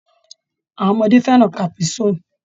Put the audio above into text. Àwọn ọmọdé fẹ́ràn caprisonnne.